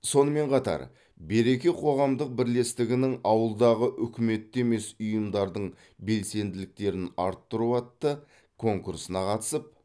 сонымен қатар береке қоғамдық бірлестігінің ауылдағы үкіметті емес ұйымдардын белсенділіктерін арттыру атты конкурсына қатысып